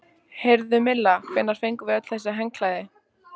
Heyrðu, Milla, hvenær fengum við öll þessi handklæði?